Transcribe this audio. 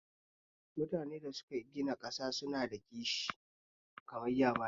Mutunen da suke gina ƙasar su na da kishi